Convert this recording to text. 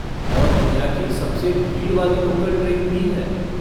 और दुनिया की सबसे भीड़ वाली लोकल ट्रेन भी है।